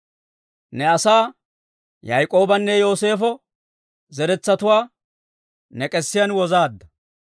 Ne asaa, Yaak'oobanne Yooseefo zeretsatuwaa, ne k'esiyaan wozaadda.